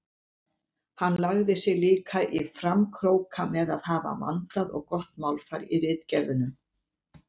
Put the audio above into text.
Hann lagði sig líka í framkróka með að hafa vandað og gott málfar í ritgerðunum.